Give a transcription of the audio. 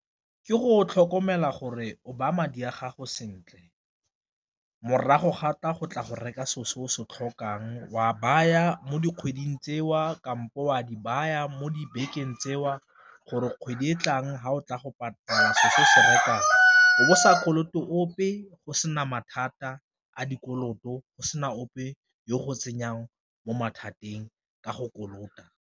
Ke go tlhokomela gore o baya madi a gago sentle morago go tla go reka se o se tlhokang o a baya mo dikgweding tseo kampo a di baya mo dibekeng tseo, gore kgwedi e tlang fa o tla go selo se o se rekang o bo sa kolote ope, o sena mathata a dikoloto go sena ope yo go tsenyang mo mathateng ka go kolota.